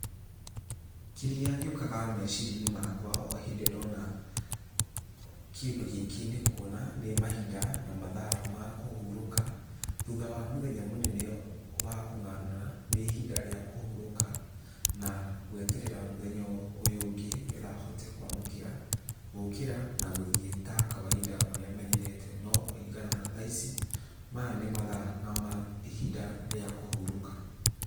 Kĩrĩa gĩũkaga meciria-inĩ makwa o hĩndĩ ndona kĩndũ gĩkĩ nĩ kuona nĩ mahinda na mathaa ma kũhurũka, thutha wa mũthenya mũnene wa kũng'ang'ana, nĩ ihinda rĩa kũhurũka na gweterera mũthenya ũyũ ũngĩ nĩgetha hote kwamũkĩra gũkĩra na gũthiĩ ta kawainda ũrĩa menyerete no kũringana na thaa ici, maya nĩ mathaa na ihinda rĩa kũhurũka.